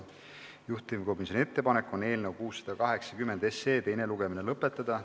Juhtivkomisjoni ettepanek on eelnõu 680 teine lugemine lõpetada.